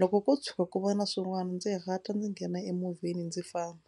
loko ko tshuka ku va na swin'wana ndzi hatla ndzi nghena emovheni ndzi famba.